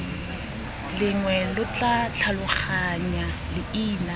lengwe lo tla tlhaloganya leina